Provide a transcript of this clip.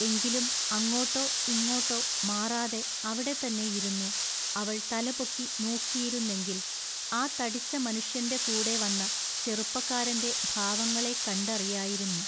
എങ്കിലും അങ്ങോട്ടൊ ഇങ്ങോട്ടൊ മാറാതെ അവിടെ തന്നെ ഇരുന്നു അവൾ തലപൊക്കി നോക്കിയിരുന്നെങ്കിൽ ആ തടിച്ച മനുഷ്യന്റെ കൂടെ വന്ന ചെറുപ്പക്കാരന്റെ ഭാവങ്ങളെക്കണ്ടറിയായിരുന്നു.